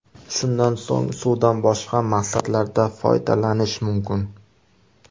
Shundan so‘ng suvdan boshqa maqsadlarda foydalanish mumkin.